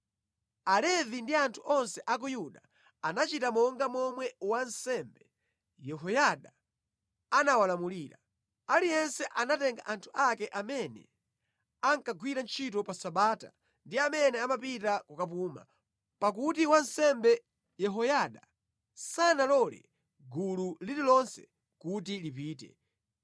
Alevi ndi anthu onse a ku Yuda anachita monga momwe wansembe Yehoyada anawalamulira. Aliyense anatenga anthu ake amene ankagwira ntchito pa Sabata ndi amene amapita kukapuma, pakuti wansembe Yehoyada sanalole gulu lililonse kuti lipite.